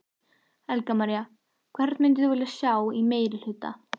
Helga María: Hvern myndir þú vilja sjá í meirihluta?